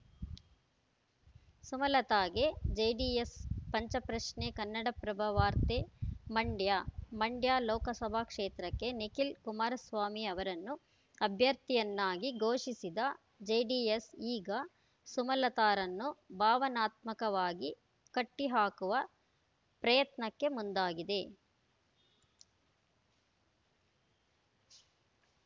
ಸುಮಲತಾಗೆ JDS ಪಂಚ ಪ್ರಶ್ನೆ ಕನ್ನಡಪ್ರಭ ವಾರ್ತೆ ಮಂಡ್ಯ ಮಂಡ್ಯ ಲೋಕ ಸಭಾ ಕ್ಷೇತ್ರಕ್ಕೆ ನಿಖಿಲ್‌ ಕುಮಾರಸ್ವಾಮಿ ಅವರನ್ನು ಅಭ್ಯರ್ಥಿಯನ್ನಾಗಿ ಘೋಷಿಸಿದ ಜೆಡಿಎಸ್‌ ಈಗ ಸುಮಲತಾರನ್ನು ಭಾವನಾತ್ಮಕವಾಗಿ ಕಟ್ಟಿಹಾಕುವ ಪ್ರಯತ್ನ ಕ್ಕೆ ಮುಂದಾಗಿದೆ